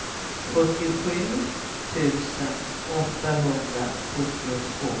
fyrtiosju tusen åttahundrasjuttiotvå